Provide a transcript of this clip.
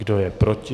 Kdo je proti?